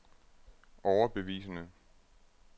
overbevisende